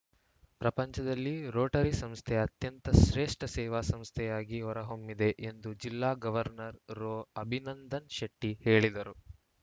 ಪ್ರಪಂಚದಲ್ಲಿ ರೋಟರಿ ಸಂಸ್ಥೆ ಅತ್ಯಂತ ಶ್ರೇಷ್ಠ ಸೇವಾ ಸಂಸ್ಥೆಯಾಗಿ ಹೊರಹೊಮ್ಮಿದೆ ಎಂದು ಜಿಲ್ಲಾ ಗೌವರ್ನರ್‌ ರೋ ಅಭಿನಂದನ್‌ ಶೆಟ್ಟಿಹೇಳಿದರು